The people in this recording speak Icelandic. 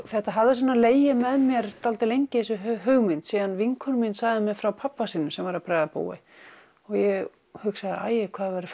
þetta hafði legið með mér dálítið lengi þessi hugmynd síðan vinkona mín sagði mér frá pabba sínum sem var að bregða búi og ég hugsaði æi hvað það væri